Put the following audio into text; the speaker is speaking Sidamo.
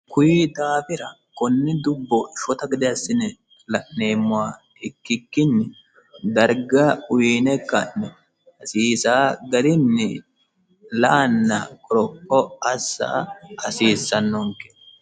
kuyi daafira konni dubbo shota gade assine la'neemmowa ikkikkinni darga uyiine ka'no asiisa garinni la'anna koropho assa hasiissannonke